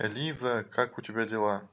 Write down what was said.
лиза как у тебя дела